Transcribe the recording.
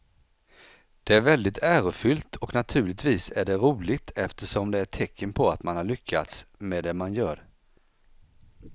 Det är väldigt ärofyllt och naturligtvis är det roligt eftersom det är ett tecken på att man har lyckats med det man gör.